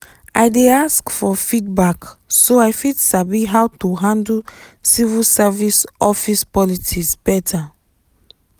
i dey ask for feedback so i fit sabi how to handle civil service office politics better.